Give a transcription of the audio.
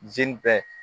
Zi bɛ